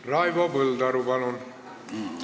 Raivo Põldaru, palun!